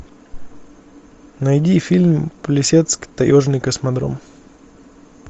найди фильм плесецк таежный космодром